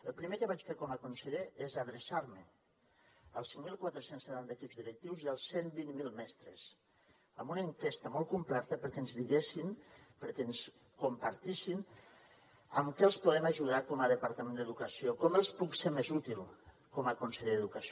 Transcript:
el primer que vaig fer com a conseller és adreçar me als cinc mil quatre cents i setanta equips directius i als cent i vint miler mestres amb una enquesta molt completa perquè ens diguessin perquè ens compartissin en què els podem ajudar com a departament d’educació com els puc ser més útil com a conseller d’educació